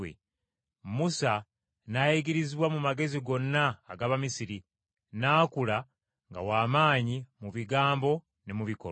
Musa n’ayigirizibwa mu magezi gonna ag’Abamisiri, n’akula nga w’amaanyi mu bigambo ne mu bikolwa.